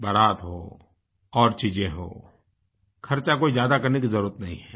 बारात हों और चीजें हों खर्चा कोई ज्यादा करने की जरुरत नहीं है